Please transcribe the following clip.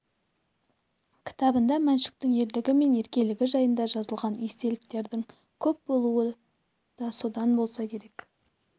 кітабында мәншүктің ерлігі мен еркелігі жайында жазылған естеліктердің көп болуы да содан болса керек